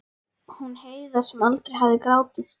Hún Heiða sem aldrei hafði grátið.